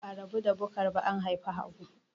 Ba'a rabu da Bukar ba an haifi Habu.